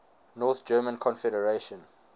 north german confederation